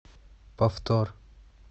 повтор